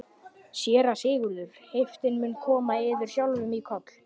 SÉRA SIGURÐUR: Heiftin mun koma yður sjálfum í koll?